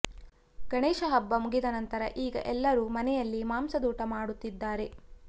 ಗಣೇಶ ಹಬ್ಬ ಮುಗಿದ ನಂತರ ಈಗ ಎಲ್ಲರೂ ಮನೆಯಲ್ಲಿ ಮಂಸದೂಟ ಮಾಡುತ್ತಿದ್ದಾರೆ